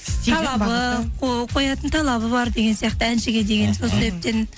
қоятын талабы бар деген сияқты әншіге деген сол себептен